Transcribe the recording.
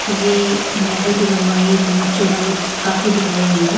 ये नेहर की लंबाई बहुत चौड़ाई काफी दिखाई गई है।